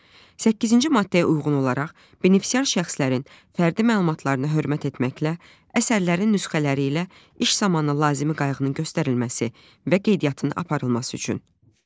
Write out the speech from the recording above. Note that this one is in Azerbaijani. Səkkizinci maddəyə uyğun olaraq benefisiar şəxslərin fərdi məlumatlarına hörmət etməklə əsərlərin nüsxələri ilə iş zamanı lazımi qayğının göstərilməsi və qeydiyyatının aparılması üçün.